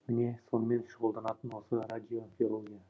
міне сонымен шұғылданатын осы радиобиология